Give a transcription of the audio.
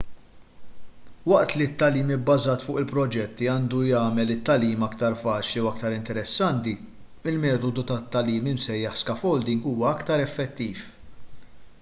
waqt li t-tagħlim ibbażat fuq il-proġetti għandu jagħmel it-tagħlim aktar faċli u aktar interessanti il-metodu tat-tagħlim imsejjaħ scaffolding huwa aktar effettiv